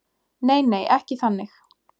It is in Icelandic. nei nei ekki þannig